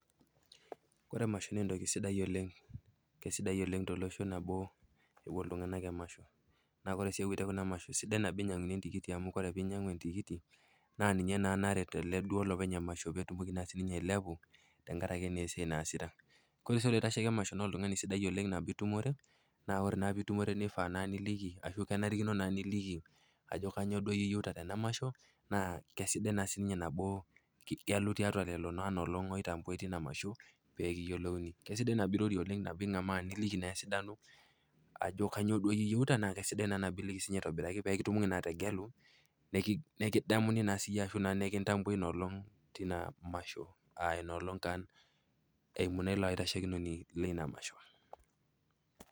Ore emasho naa entoki sidai oleng', kesidai oleng' tolosho nabo epuo iltung'anak emasho naa ore sii epoito kuna masho sidai nabo enyianguni entikiti amu ore pee inyiangu entikiti naa ninye naa naret olopeny emasho peetum naa sininye ainyiang'u tenkaraki naa esiai naasita. Ore sii ilaitashoki emasho naa oltung'ani sidai oleng' nabo itumure naa ore itumure iliki kenarikino naa niliki ajo kanyio duo iyieu tena masho naa kesidai naa sii nabo igelu tiatua kulo aatabaitia ina masho pee kiyielouni. Kesidai nabo irorie pee keyiolouni niliki esidano ashu kanyio duo iyieu nabo kesidai iliki peekitomoki atayiolo nikidamu ashuu naa nikintambui noolong tina masho aa taa eium iloitashekinoni lina masho.